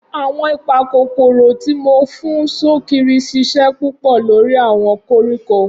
Awọn ipakokoro ti mo fun sokiri ṣiṣẹ pupọ lori awọn koriko.